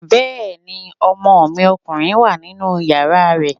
Bẹ́ẹ̀ni, ọmọ mi ọkùnrin wà nínú yàrá rẹ